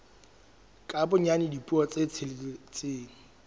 ka bonyane dipuo tse tsheletseng